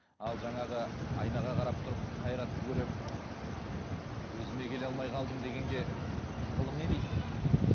ал жаңағы айнаға қарап тұрып қайратты көремін өзіме келе алмай қалдым дегенге ғылым не дейді